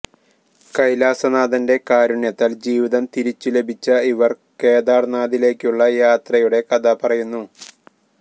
കൈലാസനാഥന്റെ കാരുണ്യത്താല് ജീവിതം തിരിച്ചുലഭിച്ച ഇവര് കേദാര്നാഥിലേക്കുള്ള യാത്രയുടെ കഥ പറയുന്നു